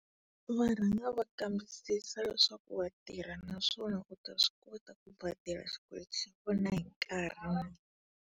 Va rhanga va kambisisa leswaku wa tirha naswona u ta swi kota ku xikweleti xa hi nkarhi.